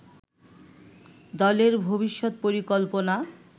দলের ভবিষ্যৎ পরিকল্পনা